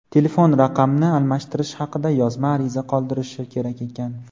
telefon raqamni almashtirish haqida yozma ariza qoldirishi kerak ekan.